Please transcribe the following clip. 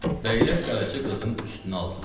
Bəylər Qaraca qızın üstünə aldılar.